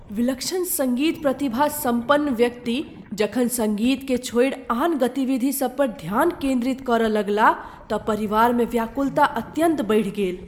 विलक्षण सङ्गीत प्रतिभा सम्पन्न व्यक्ति जखन सङ्गीतकेँ छोड़ि आन गतिविधि सब पर ध्यान केन्द्रित करय लगलाह तँ परिवारमे व्याकुलता अत्यन्त बढ़ि गेल।